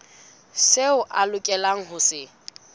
seo a lokelang ho se